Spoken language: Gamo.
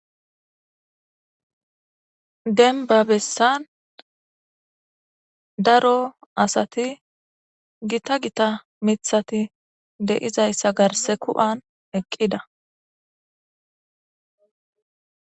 denba bessan daro asati gita gita mithati deizayssa garse ku7an eqqida